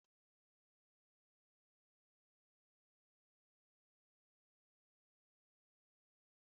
N'ime ime obodo, ndị ochie na-ekerịta akụkọ mara mma nke kụziiri anyị ihe.